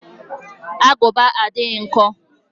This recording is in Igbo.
Agụba adịghị nkọ